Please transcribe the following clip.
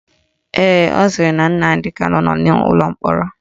Ee, ọ sịrị na Nnamdi Kanu nọ n'ụlọ mkpọrọ